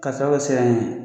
K'a sababu kɛ siran ye